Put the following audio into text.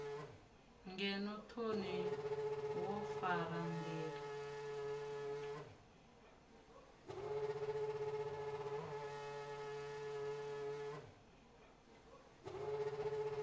ngeno thoni wo fara ndila